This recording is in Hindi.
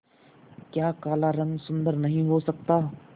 क्या काला रंग सुंदर नहीं हो सकता